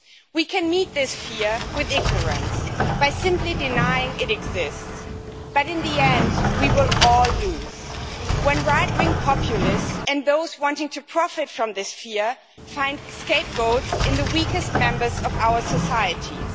We can meet this fear with ignorance, by simply denying it exists, but in the end we will all lose when right wing populists and those wanting to profit from this fear find scapegoats in the weakest members of our societies.